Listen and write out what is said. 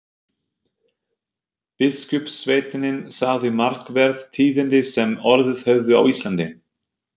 Biskupssveinninn sagði markverð tíðindi sem orðið höfðu á Íslandi.